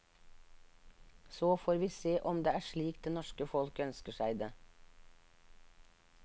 Så får vi se om det er slik det norske folk ønsker seg det.